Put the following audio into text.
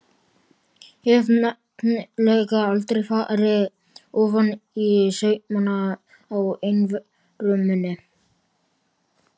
Hef nefnilega aldrei farið ofaní saumana á einveru minni.